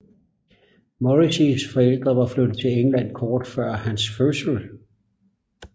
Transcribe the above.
Morrisseys forældre var flyttet til England kort før hans fødsel